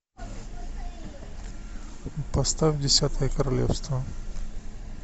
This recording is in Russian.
поставь десятое королевство